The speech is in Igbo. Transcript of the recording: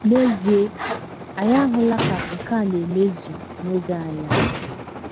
N’ezie, anyị ahụla ka nke a na - emezu n’oge anyị a.